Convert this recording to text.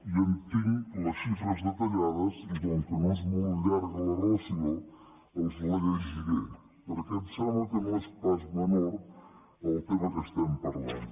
i en tinc les xifres detallades i com que no és molt llarga la relació els la llegiré perquè em sembla que no és pas menor el tema de què estem parlant